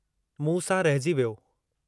मूं सां रहिजी वियो।